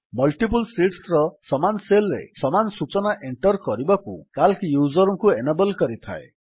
multiple ଶୀଟ୍ସର ସମାନ cell ରେ ସମାନ ସୂଚନା ଏଣ୍ଟର୍ କରିବାକୁ ସିଏଏଲସି ୟୁଜର୍ କୁ ଏନାବଲ୍ କରିଥାଏ